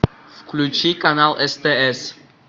включи канал стс